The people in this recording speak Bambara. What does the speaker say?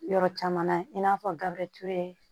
Yɔrɔ caman na i n'a fɔ gabrieti